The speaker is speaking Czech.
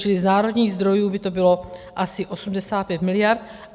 Čili z národních zdrojů by to bylo asi 85 mld.